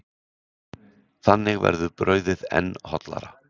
Þannig verður brauðið enn hollara.